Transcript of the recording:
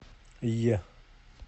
е